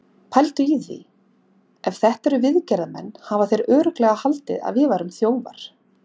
Pældu í því. ef þetta eru viðgerðarmenn hafa þeir örugglega haldið að við værum þjófar!